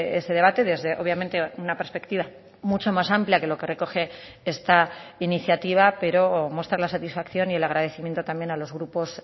ese debate desde obviamente una perspectiva mucho más amplia que lo que recoge esta iniciativa pero mostrar la satisfacción y el agradecimiento también a los grupos